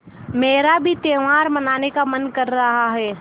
मेरा भी त्यौहार मनाने का मन कर रहा है